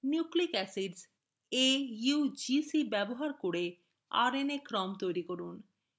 nucleic acids: augc ব্যবহার করে rna ক্রম তৈরি করা